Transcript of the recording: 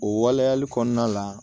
O waleyali kɔnɔna la